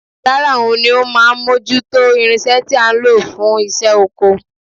Rárá, òun ni ó máa ń mójú tó irinṣẹ́ tí a ń lò fún iṣẹ́ oko